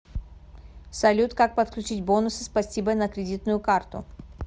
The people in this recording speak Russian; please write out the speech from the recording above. салют как подключить бонусы спасибо на кредитную карту